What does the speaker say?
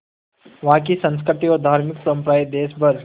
वहाँ की संस्कृति और धार्मिक परम्पराएं देश भर